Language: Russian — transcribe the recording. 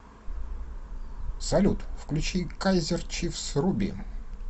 салют включи кайзер чифс руби